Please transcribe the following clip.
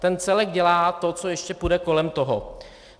Ten celek dělá to, co ještě půjde kolem toho.